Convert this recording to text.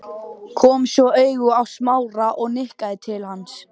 Kom svo auga á Smára og nikkaði til hans.